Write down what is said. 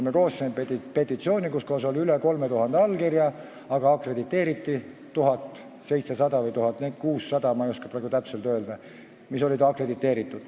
Me koostasime petitsiooni, millel oli üle 3000 allkirja, aga akrediteeriti neid 1700 või 1600, ma ei oska praegu täpselt öelda, kui paljud akrediteeriti.